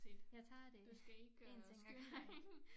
Jeg tager det 1 ting ad gangen